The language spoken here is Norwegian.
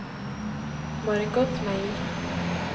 Margot Meyer